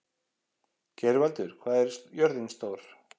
Geirvaldur, hvað er jörðin stór?